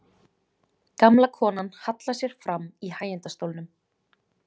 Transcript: Gamla konan hallar sér fram í hægindastólnum.